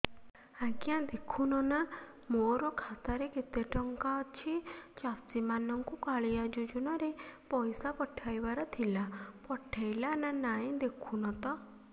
ଆଜ୍ଞା ଦେଖୁନ ନା ମୋର ଖାତାରେ କେତେ ଟଙ୍କା ଅଛି ଚାଷୀ ମାନଙ୍କୁ କାଳିଆ ଯୁଜୁନା ରେ ପଇସା ପଠେଇବାର ଥିଲା ପଠେଇଲା ନା ନାଇଁ ଦେଖୁନ ତ